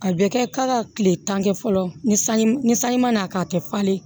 A bɛ kɛ k'a ka kile tan kɛ fɔlɔ ni sanji ni sanji ma na k'a tɛ falen